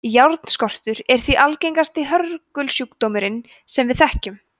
járnskortur er því langalgengasti hörgulsjúkdómurinn sem við þekkjum